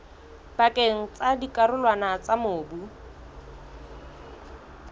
pakeng tsa dikarolwana tsa mobu